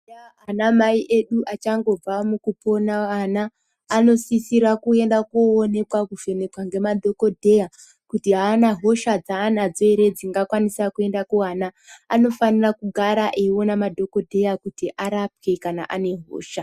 Ana mai edu achangobva kupona mwana anosisirwa kuvhenekwa nemadhokodheya kuti Hana hosha dzanadzo here kuda kuenda kuwana anofana kugara eindyo kuti arapwe kana ane hosha.